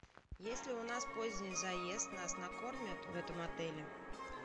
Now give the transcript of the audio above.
если у нас поздний заезд нас накормят в этом отеле